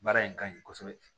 Baara in ka ɲi kosɛbɛ